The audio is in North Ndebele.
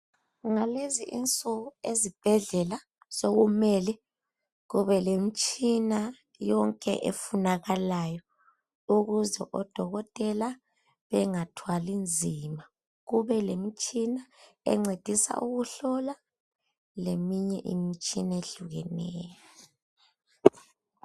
Ngalezi insuku ezibhedlela sekumele kube le imitshina yonke efunakalayo ukuze odokotela bengathwali nzima kube lemitshina encedisa ukuhlola leminye imitshina ehlukeneyo